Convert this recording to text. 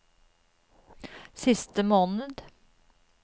siste måned